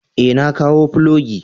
Ee, na kawo filogi.